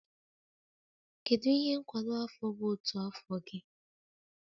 Kedu ihe nkwado afọ bụ otu afọ gị?